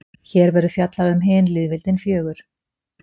hér verður fjallað um hin lýðveldin fjögur